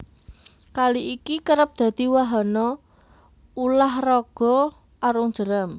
Kali iki kerep dadi wahana ulah raga arung jeram